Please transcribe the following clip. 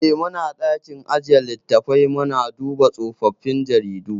Eh, muna ɗakin ajjiye littafai muna duba tsofaffin jaridu.